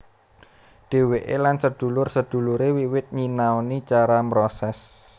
Dheweke lan sedulur sedulure wiwit nyinaoni cara mroses